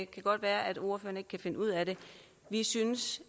kan godt være at ordføreren ikke kan finde ud af det vi synes